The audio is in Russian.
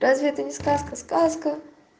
разве это не сказка сказка